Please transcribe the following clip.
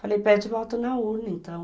Falei, pede voto na urna, então.